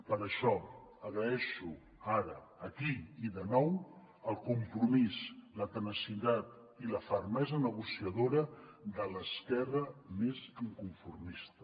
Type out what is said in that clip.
per això agraeixo ara aquí i de nou el compromís la tenacitat i la fermesa negociadora de l’esquerra més inconformista